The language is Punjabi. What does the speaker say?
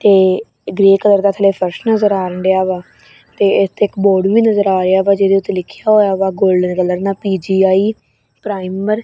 ਇਹ ਗਰੇ ਕਲਰ ਦਾ ਥੱਲੇ ਫਰਸ਼ ਨਜ਼ਰ ਆਣ ਡਿਆ ਵਾ ਤੇ ਇਥੇ ਇੱਕ ਬੋਰਡ ਵੀ ਨਜ਼ਰ ਆ ਰਿਹਾ ਵਾ ਜਿਹਦੇ ਉੱਤੇ ਲਿਖਿਆ ਹੋਇਆ ਵਾ ਗੋਲਡਨ ਕਲਰ ਨਾਲ ਪੀ ਜੀ ਆਈ ਪ੍ਰਾਈਮਰ --